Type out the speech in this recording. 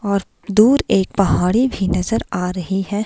और दूर एक पहाड़ी भी नजर आ रही है।